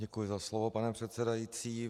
Děkuji za slovo, pane předsedající.